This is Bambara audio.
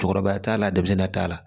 Cɛkɔrɔba t'a la denmisɛnnin t'a la